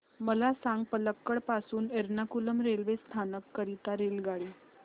मला सांग पलक्कड पासून एर्नाकुलम रेल्वे स्थानक करीता रेल्वेगाडी